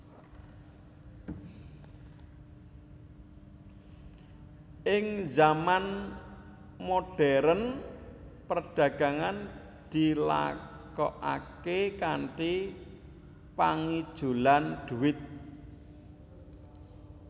Ing zaman modhèrn perdagangan dilakokaké kanthi pangijolan dhuwit